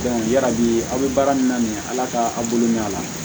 yarabi aw bɛ baara min na ala ka aw bolo mɛn a la